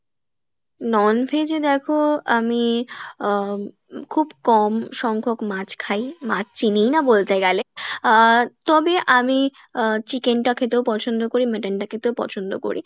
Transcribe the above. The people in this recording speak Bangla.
non-veg এ দেখো আমি আহ খুব কম সংখ্যক মাছ খাই, মাছ চিনিই না বলতে গেলে আহ তবে আমি আহ chicken টা খেতেও পছন্দ করি mutton টা খেতেও পছন্দ করি